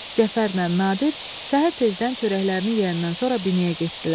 Cəfərlə Nadir səhər tezdən çörəklərini yeyəndən sonra binəyə getdilər.